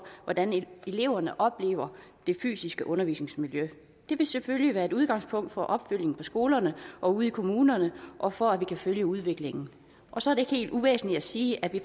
hvordan eleverne oplever det fysiske undervisningsmiljø det vil selvfølgelig være et udgangspunkt for opfølgning på skolerne og ude i kommunerne og for at vi kan følge udviklingen så er det ikke helt uvæsentligt at sige at vi